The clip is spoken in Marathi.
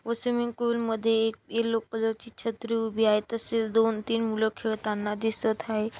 व स्विमिंग पूल मध्ये एक येलो कलर ची छत्री उभी आहे तसेच दोन तीन मुल खेळतांना दिसत हाये.